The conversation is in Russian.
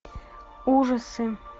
ужасы